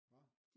Hvad